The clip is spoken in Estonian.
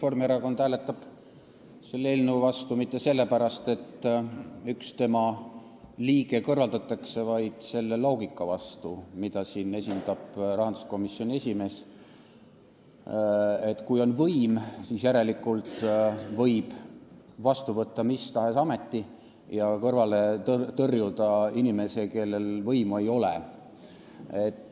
Reformierakond hääletab selle eelnõu vastu mitte sellepärast, et üks tema liige nõukogust kõrvaldatakse, vaid me hääletame selle loogika vastu, mida siin esindab rahanduskomisjoni esimees, et kui on võim, siis järelikult võib vastu võtta mis tahes ameti ja kõrvale tõrjuda inimese, kellel võimu ei ole.